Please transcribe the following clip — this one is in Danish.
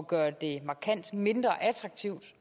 gøre det markant mindre attraktivt